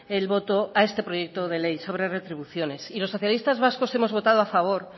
el voto a este proyecto de ley sobre retribuciones y los socialistas vascos hemos votado a favor